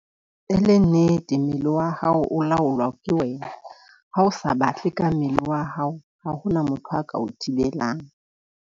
E le nnete, mmele wa hao o laolwa ke wena ha o sa batle ka mmele wa hao. Ha hona motho a ka o thibelang.